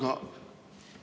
Aitäh!